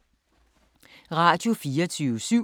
Radio24syv